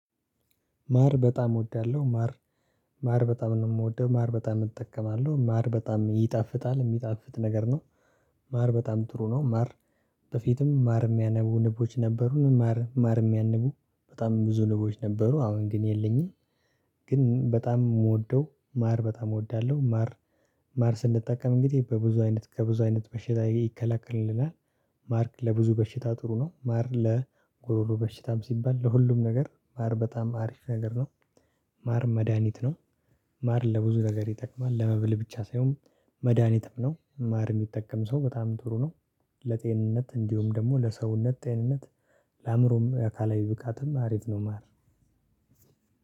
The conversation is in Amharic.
ማር በጣም እወዳለሁ ማር ማር በጣም ነው የምወደው ማር በጣም እጠቀማለሁ ማር በጣም ይጣፍጣል የሚጣፍጥ ነገር ነው። ማር በጣም ጥሩ ነው ማር። በፊትም ማር ሚያነቡ ንቦች ነበሩን ማር ማር ሚያንቡ በጣም ብዙ ንቦች ነበሩ አሁን ግን የለኝም። ግን በጣም ምወደው ማር በጣም እወዳለሁ ማር። ማር ስንጠቀም እንግዲህ በብዙ አይነት ከብዙ አይነት በሽታ ይከላከልልናል። ማር ለብዙ በሽታ ጥሩ ነው ማር ለጉሮሮ በሽታም ሲባል ለሁሉም ነገር ማር በጣም አሪፍ ነገር ነው። ማር መድሃኒት ነው። ማር ለብዙ ነገር ይጠቅማል ለመብል ብቻ ሳይሆን መድሃኒትም ነው ማር ሚጠቀም ሰው በጣም ጥሩ ነው። ለጤንነት እንዲሁም ደግሞ ለሰውነት ጤንነት። ለአእምሮም የአካላዊ ብቃትም አሪፍ ነው ማር